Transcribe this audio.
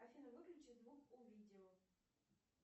афина выключи звук у видео